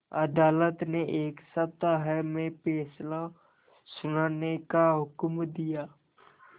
अदालत ने एक सप्ताह में फैसला सुनाने का हुक्म दिया